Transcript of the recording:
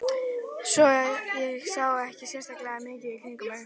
Svo ég sá ekki sérlega mikið í kringum mig.